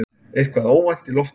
Eitthvað óvænt í loftinu.